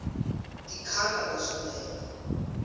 ti khata na swinepe